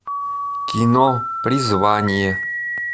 кино призвание